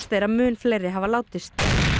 er að mun fleiri hafa látist